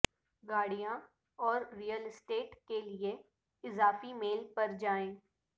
گاڑیاں اور real estate کے لئے اضافی میل پر جائیں